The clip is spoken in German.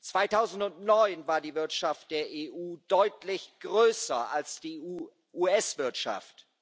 2009 war die Wirtschaft der EU deutlich größer als die US Wirtschaft.